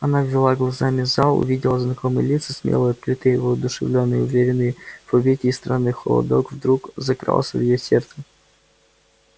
она обвела глазами зал увидела знакомые лица смелые открытые воодушевлённые уверенные в победе и странный холодок вдруг закрался в её сердце